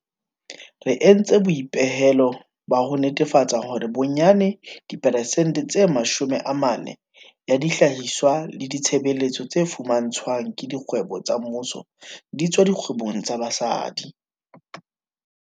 Re entse boipehelo ba ho netefatsa hore bonyane diperesente tse 40 ya dihlahiswa le ditshebeletso tse fumantshwang ke dikgwebo tsa mmuso di tswa dikgwebong tsa basadi.